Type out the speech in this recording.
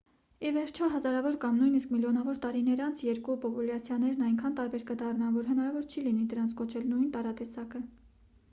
ի վերջո հազարավոր կամ նույնիսկ միլիոնավոր տարիներ անց երկու պոպուլյացիաներն այնքան տարբեր կդառնան որ հնարավոր չի լինի դրանց կոչել նույն տարատեսակը